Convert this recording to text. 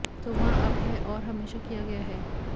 तो वहाँ अब है और हमेशा किया गया है